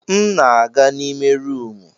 M na-aga n'ime rumụ.